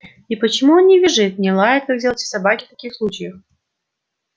и почему он не визжит не лает как делают все собаки в таких случаях